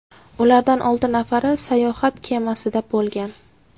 Ulardan olti nafari sayohat kemasida bo‘lgan.